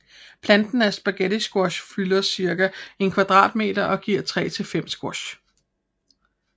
Planten af spaghettisquash fylder cirka en kvadratmeter og giver tre til fem squash